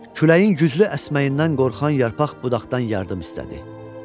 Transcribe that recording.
Küləyin güclü əsməyindən qorxan yarpaq budaqdan yardım istədi.